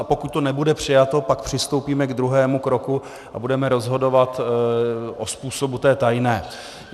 A pokud to nebude přijato, pak přistoupíme k druhému kroku a budeme rozhodovat o způsobu té tajné.